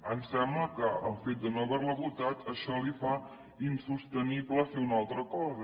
em sembla que el fet de no haver la votat això li fa insostenible fer una altra cosa